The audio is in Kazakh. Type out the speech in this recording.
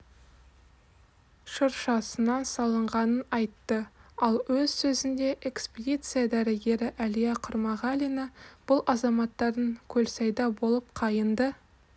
шыршасынан салынғанын айтты ал өз сөзінде экспедиция дәрігері әлия құмарғалина бұл азаматтардың көлсайда болып қайыңды